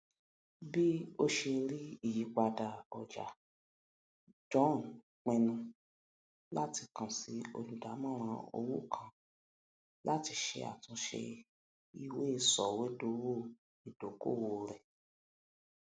bí ó ṣe rí ìyípadà ọjà john pinnu láti kan sí olùdàmòràn owó kan láti ṣe àtúnṣe iweiṣòwò ìdókòwò rẹ